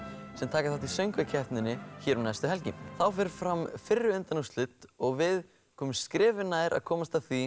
sem taka þátt í söngva keppninni hér um næstu helgi þá fer fram fyrri undanúrslit og við komumst skrefi nær að komast að því